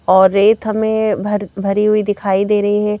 और रेत हमें भर भरी हुई दिखाई दे रही है।